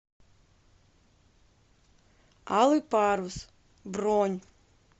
алый парус бронь